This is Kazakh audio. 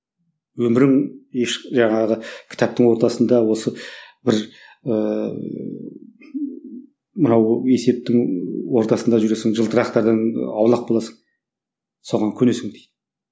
өмірің еш жаңағы кітаптың ортасында осы бір ыыы мынау есептің ортасында жүресің жылтырақтардан аулақ боласың соған көнесің дейді